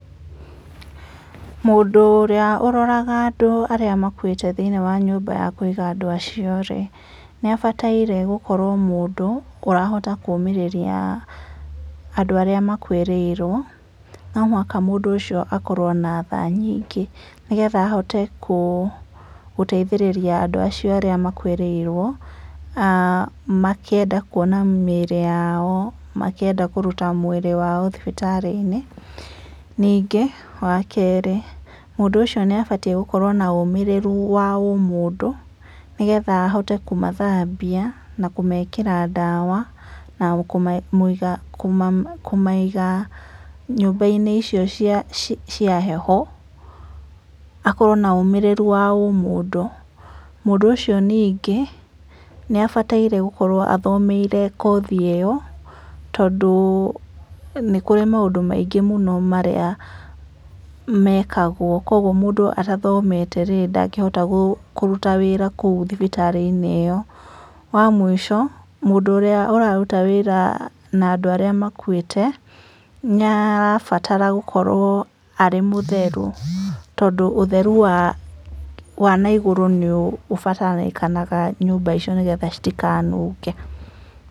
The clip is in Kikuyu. Mũndũ ũrĩa ũroraga andũ arĩa makũĩte thĩinĩ wa nyũmba ya kũĩga andũ acio-rĩ, nĩabataĩre gũkorũo mũndũ ũrahota kũũmĩrĩria andũ arĩa makuĩrĩirũo. No mũhaka mũndũ ũcio akorũo na tha nyingĩ nĩ getha ahote kũ, gũteithereria andũ acio arĩa makuĩrĩiruo, aa, makĩenda kuona mĩiri yao, makĩenda kũruta mwĩrĩ wao thibitarĩ-inĩ. Ningĩ, wa keerĩ, mũndũ ũcio nĩabatie gũkorũo na ũmĩrĩru wa umũndũ, nĩgeetha ahote kũmathabia na kumeekĩra daawa na kũmaiga, kũmaiga nyũmbaine icio cia heho. Akorũo na ũmĩrĩru wa ũmũndũ. Mũndũ ũcio niingĩ, nĩabataire gũkorũo athomeire koothi ĩyo, tondũ nĩ kũrĩ maũndũ maingĩ mũno marĩa mekagwo kuoguo mũndũ atathomete-rĩ ndagihota gũ, kũruta wĩra kũu thibitarĩ-inĩ ĩyo. Wa mũico, mũndũ ũrĩa ũraruta wĩra na andũ arĩa makuĩte, nĩarabatara gũkoruo arĩ mũtheru tondu ũtheru wa naigurũ nĩubatarĩkanaga nyũmba icio nĩ getha citikaanunge.